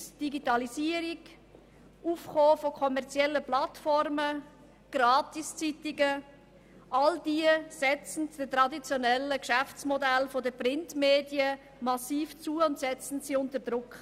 Die Digitalisierung, das Aufkommen kommerzieller Plattformen, Gratiszeitungen – sie alle setzen den traditionellen Geschäftsmodellen der Printmedien massiv zu und setzen diese unter Druck.